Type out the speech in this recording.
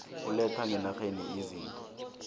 oletha ngenarheni izinto